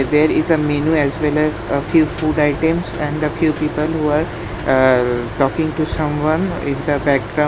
There is a menu as well as a few food items and few people who are aa talking to someone in the backgra --